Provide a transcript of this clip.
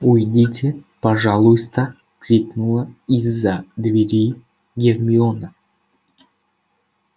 уйдите пожалуйста крикнула из-за двери гермиона